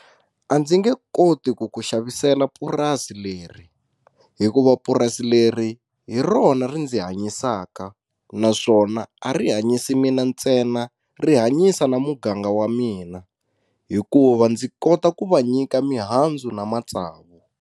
A ndzi nge koti ku ku xavisela purasi leri hikuva purasi leri hi rona ri ndzi hanyisaka naswona a ri hanyisi mina ntsena ri hanyisa na muganga wa mina hikuva ndzi kota ku va nyika mihandzu na matsavu.